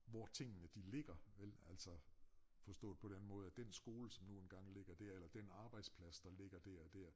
Hvor tingene de ligger vel altså forstået på den måde at den skole som nu engang ligger dér eller den arbejdsplads der ligger dér og dér